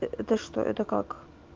это что это как